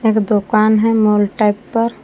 एक दुकान है मॉल टाइप पर।